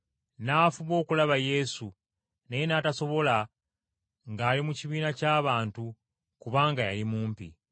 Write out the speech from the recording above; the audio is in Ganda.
N’afuba okulaba Yesu, naye n’atasobola ng’ali mu kibiina ky’abantu kubanga yali mumpi.